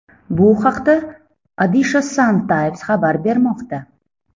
Bu haqda Odisha Sun Times xabar bermoqda .